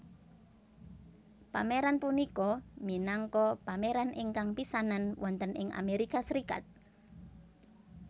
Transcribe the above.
Pameran punika minangka pameran ingkang pisanan wonten ing Amerika Serikat